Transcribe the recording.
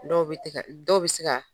Dɔw bɛ se ka